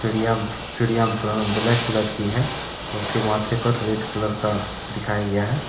चिड़िया चिड़िया ब ब्लैक कलर की है उसके माथे पर रेड कलर का दिखाया गया है।